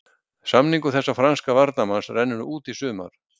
Samningur þessa franska varnarmanns rennur út í sumar.